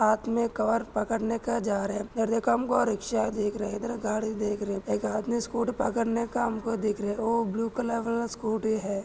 Cover पकडणे का जा रहे रिक्षा दिख रही एक आदमी स्कूटी पकड़ने का हमको दिख रहे वो ब्लू कलर वाला स्कूटी है।